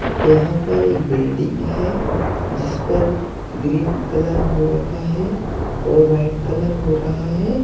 यहां पर एक बिल्डिंग है जिस पर ग्रीन कलर हो रखा हैं और व्हाइट कलर हो रहा है।